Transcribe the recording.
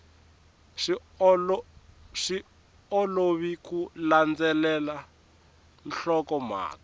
swi olovi ku landzelela nhlokomhaka